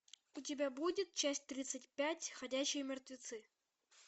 у тебя будет часть тридцать пять ходячие мертвецы